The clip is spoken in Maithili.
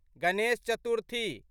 गणेश चतुर्थी